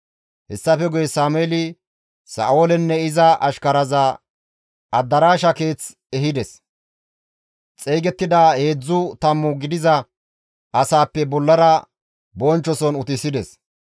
Hessafe guye Sameeli Sa7oolenne iza ashkaraza adaraasha keeth ehides; xeygettida heedzdzu tammu gidiza asaappe bollara bonchchoson utisides.